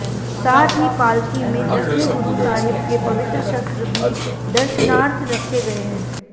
साथ ही पालकी में दसवें गुरु साहिब के पवित्र शस्त्र भी दर्शनार्थ रखे गए हैं